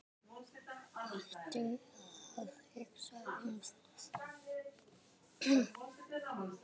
Hættu að hugsa um það.